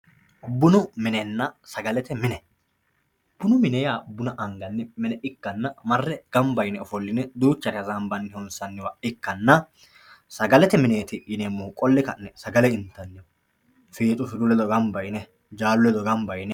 bunu minenna sagalete mine bunu mine yaa buna angayii mine ikkana marre ganba yine ofoline duuchare hasaambay hosaniwa ikkana sagalete mineeti yineemohu qolle ka'ne sagale inttanni fiixu firu ledo gamba yine jaallu ledo gamba yine.